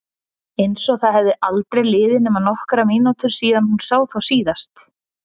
Einsog það hefðu aldrei liðið nema nokkrar mínútur síðan hún sá þá síðast.